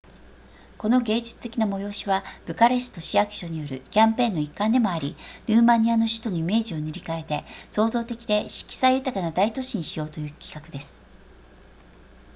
この芸術的な催しはブカレスト市役所によるキャンペーンの一環でもありルーマニアの首都のイメージを塗り変えて創造的で色彩豊かな大都市にしようという企画です